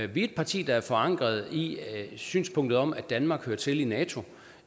vi er et parti der er forankret i synspunktet om at danmark hører til i nato